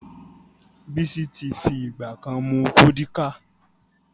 Bísí ti fi ìgbà ká mú Fọ́díkà